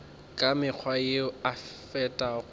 ka mekgwa yeo e fetago